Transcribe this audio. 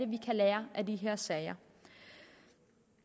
vi kan lære af de her sager vi